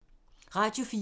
Radio 4